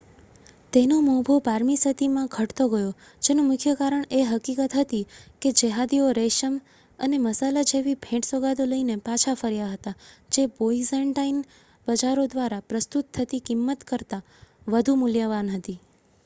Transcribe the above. તેનો મોભો બારમી સદીમાં ઘટતો ગયો જેનું મુખ્ય કારણ એ હકીકત હતી કે જેહાદીઓ રેશમ અને મસાલા જેવી ભેટ-સોગાદો લઈને પાછા ફર્યા હતા જે બાઇઝૅન્ટાઇન બજારો દ્વારા પ્રસ્તુત થતી કિંમત કરતાં વધુ મૂલ્યવાન હતી